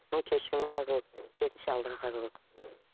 оны кешіріммен қарау керек керісінше алдыға қарау керек